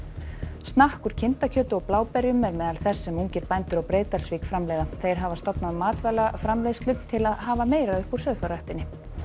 snakk úr kindakjöti og bláberjum er meðal þess sem ungir bændur á Breiðdalsvík framleiða þeir hafa stofnað matvælaframleiðslu til að hafa meira upp úr sauðfjárræktinni